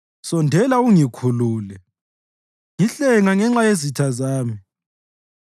Sondela ungikhulule; ngihlenga ngenxa yezitha zami.